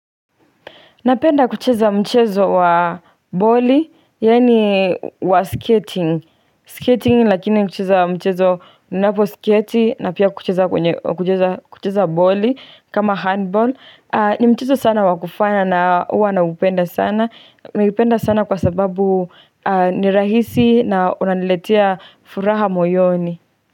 Napenda kucheza mchezo wa boli, yaani wa skating. Skating lakini kucheza mchezo unaposketi na pia kucheza boli kama handball. Ni mchezo sana wakufana na huwa naupenda sana. Naupenda sana kwa sababu ni rahisi na unaniletia furaha moyoni.